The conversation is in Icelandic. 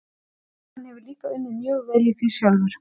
Jú, hann hefur líka unnið mjög vel í því sjálfur.